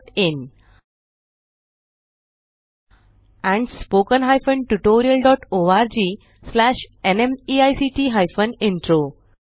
oscariitbacइन and spoken tutorialorgnmeict intro